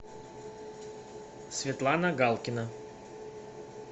светлана галкина